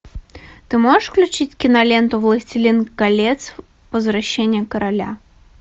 ты можешь включить киноленту властелин колец возвращение короля